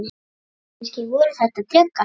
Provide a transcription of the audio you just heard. Kannski voru þetta drekar?